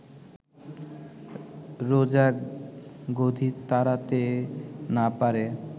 রোজা গদি তাড়াতে না পারে